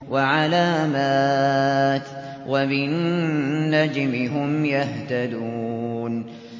وَعَلَامَاتٍ ۚ وَبِالنَّجْمِ هُمْ يَهْتَدُونَ